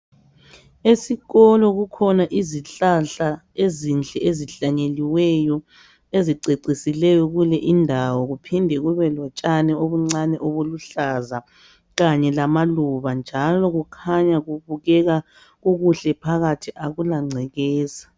Esikolo kukhona izihlahla ezinhle ezihlanyeliweyo, ezicecisileyo kule indawo, kuphinde kubelotshani obuncane obuluhlaza kanye lamaluba. Njalo kukhanya kubukeka kukuhle phakathi akulangcekeza.